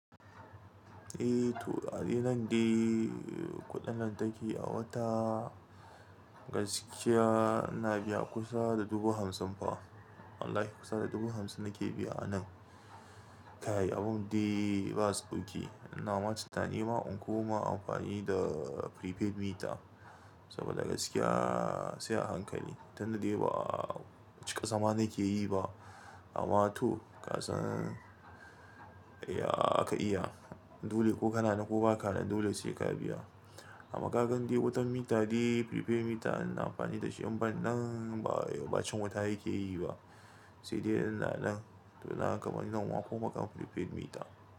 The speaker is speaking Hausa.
Eh to a nan dai kuɗin lantarki a wata gaskiya ina biya kusa da dubu hamsin fa. Wallahi kusa da dubu hamsin nake biya a nan. Kai abun dai ba sauki. Ina ma tunani ne ma in koma amfani da prepaid meter saboda gaskiya sai a hankali. Tun da dai ba cika zama na ke yi ba. Amma to kasan ya aka iya dole ko kana nan koh baka nan dole sai ka biya. Amma kagan dai wutan mita dai prepaid mita ina amfani da shi. Amban nan ba, ba cin wuta yake yi ba. Sai dai ina nan to na kamani nan wa fo maka prepaid mita.